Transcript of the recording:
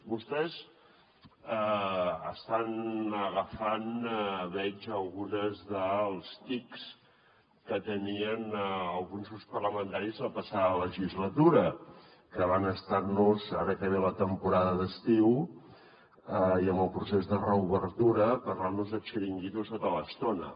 vostès estan agafant veig alguns dels tics que tenien alguns grups parlamentaris la passada legislatura que van estar ara que ve la temporada d’estiu i amb el procés de reobertura parlant nos de xiringuitos tota l’estona